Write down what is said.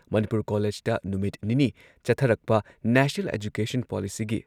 ꯃꯅꯤꯄꯨꯔ ꯀꯣꯂꯦꯖꯇ ꯅꯨꯃꯤꯠ ꯅꯤꯅꯤ ꯆꯠꯊꯔꯛꯄ ꯅꯦꯁꯅꯦꯜ ꯑꯦꯖꯨꯀꯦꯁꯟ ꯄꯣꯂꯤꯁꯤꯒꯤ